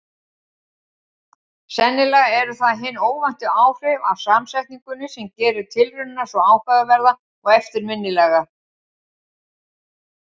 Sennilega eru það hin óvæntu áhrif af samsetningunni sem gerir tilraunina svo áhugaverða og eftirminnilega.